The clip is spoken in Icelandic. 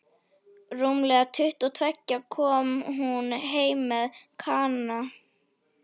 Rúmlega tuttugu og tveggja kom hún heim með Kana.